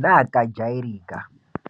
neakajairika.